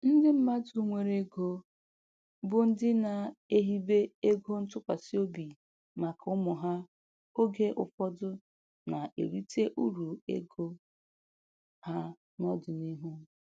Ndị mmadụ nwere ego, bụ ndị na-ehibe ego ntụkwasị obi maka ụmụ ha oge ụfọdụ na-erite uru ego ha n'ọdịniihu.